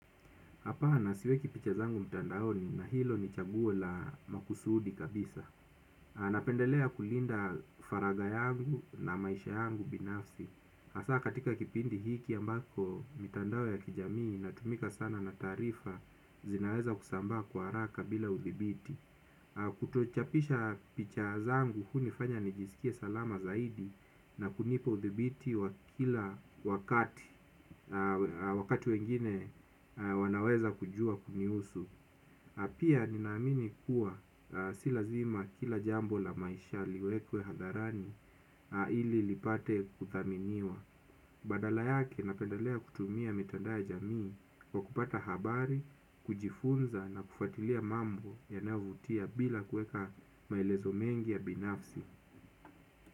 Hapana siweki picha zangu mtandaoni na hilo ni chaguo la makusudi kabisa. Napendelea kulinda faraga yangu na maisha yangu binafsi. Asa katika kipindi hiki ambako mitandao ya kijamii inatumika sana na taarifa zinaweza kusambaa kwa haraka bila uthibiti. Kutochapisha picha zangu hunifanya nijisikie salama zaidi na kunipa udhibiti wakati wengine wanaweza kujua kunihusu. Pia ninaamini kuwa silazima kila jambo la maisha liwekwe hadharani ili lipate kuthaminiwa. Badala yake napendalea kutumia mitandao ya jamii kwa kupata habari, kujifunza na kufatilia mambo yanayovutia bila kueka maelezo mengi ya binafsi.